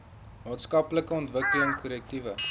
maatskaplike ontwikkeling korrektiewe